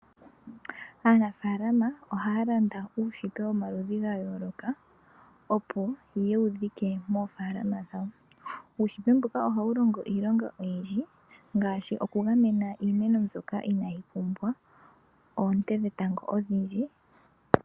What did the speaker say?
Aanafalama ohalanda uunete womaludhi ga yoloka mboka opo yewudhike mofalama dhawo uunete mbuka oha wulongo iilonga oyindji ngashi okungamena iimeno mbyoka Inayipumbwa oote dhetango odhindji.